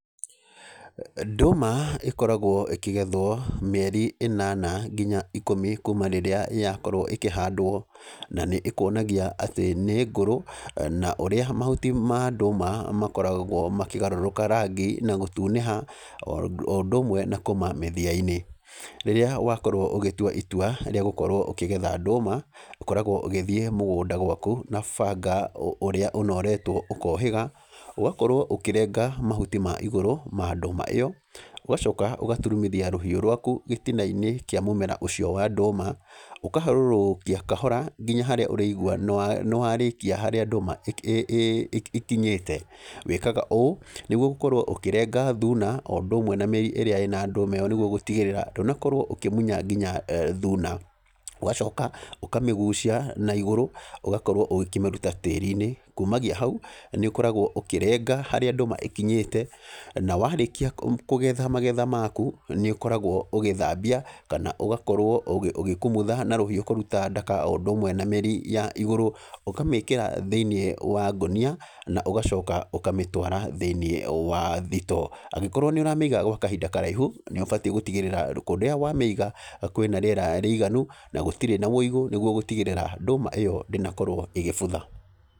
Ndũma ĩkoragwo ĩkĩgethwo mĩeri ĩnana nginya ikũmi kuuma rĩrĩa yakorwo ĩkĩhandwo. Na nĩ ĩkuonagia atĩ nĩ ngũrũ, na ũrĩa mahuti ma ndũma makoragwo makĩgarũrũka rangi na gũtunĩha, o ũndũ ũmwe na kũũma mĩthia-inĩ. Rĩrĩa wakorwo ũgĩtua itua rĩa gũkorwo ũkĩgetha ndũma, ũkoragwo ũgĩthiĩ mũgũnda gwaku, na banga ũrĩa ũnoretwo ũkohĩga, ũgakorwo ũkĩrenga mahuti ma igũrũ ma ndũma ĩyo, ũgacoka ũgaturumithia rũhiũ rwaku gĩtina-inĩ kĩa mũmera ũcio wa ndũma, ũkaharũrũkia kahora nginya harĩa ũrĩigua nĩ nĩ warĩkia harĩa ndũma ĩkinyĩte. Wĩkaga ũũ, nĩguo gũkorwo ũkĩrenga thuna, o ũndũ ũmwe na mĩri ĩrĩa ĩna ndũma ĩyo nĩguo gũtigĩrĩra ndũnakorwo ũkĩmunya nginya thuna. Ũgacoka, ũkamĩgucia na igũrũ, ũgakorwo ũgĩkĩmĩruta tĩri-inĩ. Kumagia hau, nĩ ũkoragwo ũkĩrenga harĩa ndũma ĩkinyĩte. Na warĩkia kũgetha magetha maku, nĩ ũkoragwo ũgĩthambia, kana ũgakorwo ũgĩkumutha na rũhiũ kũruta ndaka o ũndũ ũmwe na mĩri ya igũrũ. Ũkamĩkĩra thĩiniĩ wa ngũnia, na ũgacoka ũkamĩtwara thĩiniĩ wa thitoo. Angĩkorwo nĩ ũramĩiga gwa kahinda karaihu, nĩ ũbatiĩ gũtigĩrĩra kũrĩa wamĩiga kwĩna rĩera rĩiganu, na gũtirĩ na wĩigũ nĩguo gũtigĩrĩra ndũma ĩyo ndĩnakorwo ĩgĩbutha.